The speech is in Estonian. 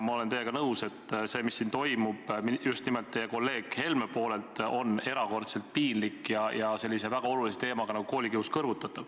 Ma olen teiega nõus, et see, mis siin toimub, just nimelt teie kolleeg Helme poolelt, on erakordselt piinlik ja kõrvutatav sellise väga olulise teemaga nagu koolikius.